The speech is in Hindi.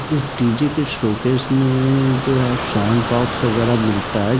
इस डी_जे के शोकेस में जो है साउन्ड बॉक्स वगैरह मिलता है।